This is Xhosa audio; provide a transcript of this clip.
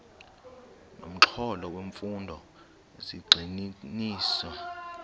nomxholo wemfundo zigxininiswa